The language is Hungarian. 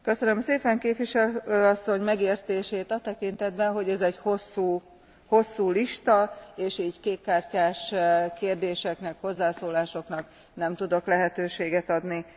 Köszönöm szépen képviselő asszony megértését a tekintetben, hogy ez egy hosszú lista és így kék kártyás kérdéseknek, hozzászólásoknak nem tudok lehetőséget adni.